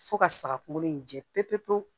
Fo ka saga kunkolo in jɛ pewu pewu pewu